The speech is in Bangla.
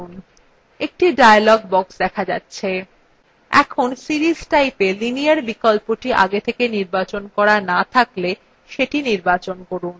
একটি dialog box দেখা যাচ্ছে